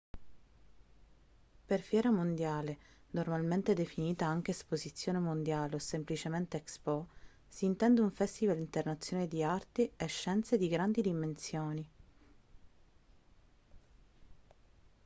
per fiera mondiale normalmente definita anche esposizione mondiale o semplicemente expo si intende un festival internazionale di arti e scienze di grandi dimensioni